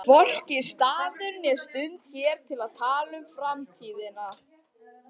Hvorki staður né stund hér til að tala um framtíðina.